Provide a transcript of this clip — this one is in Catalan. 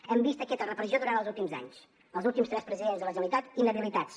hem vist aquesta repressió durant els últims anys els últims tres presidents de la generalitat inhabilitats